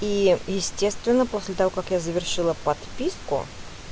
и естественно после того как я завершила подписку